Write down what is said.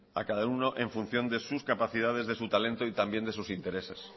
a cada uno en función de sus capacidades de su talento y también de sus intereses